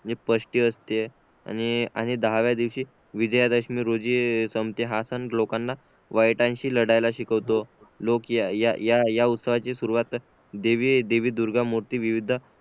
जी षष्टी असते आणि दहाव्या दिवशी विजयादशमी रोजी संपते हा सण लोकांना वाईटांशी लढ्याला शिकवतो लोक या उत्सवाची सुरवात देवी देवी दुर्गा मूर्ती विविध